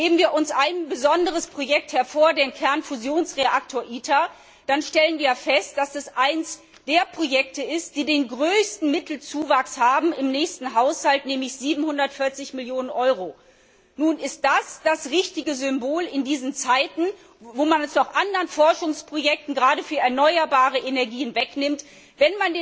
Nehmen wir uns ein besonderes Projekt hervor, den Kernfusionsreaktor ITER, dann stellen wir fest, dass es eines der Projekte ist, die den größten Mittelzuwachs im nächsten Haushalt haben, nämlich 740 Millionen Euro. Ist das das richtige Symbol in diesen Zeiten, in denen man bei anderen Forschungsprojekten, gerade für erneuerbare Energien, Mittel kürzt?